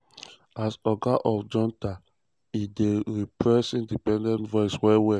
as oga of junta e don repress independent voices well-well.